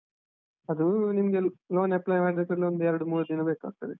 ಅದು ನಿಮ್ಗೆ loan apply ಮಾಡಿದ ಕೂಡ್ಲೇ, ಒಂದ್ ಎರಡು ಮೂರು ದಿನ ಬೇಕಾಗ್ತದೆ.